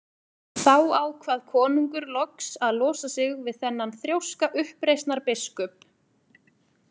Þá ákvað konungur loks að losa sig við þennan þrjóska uppreisnarbiskup.